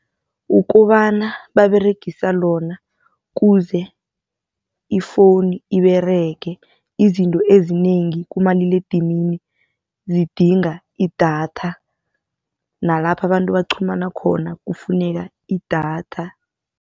Ukobana baberegisa lona kuze ifoni iberege. Izinto ezinengi kumaliledinini zidinga idatha nalapha abantu baqhumana khona kufuneka idatha.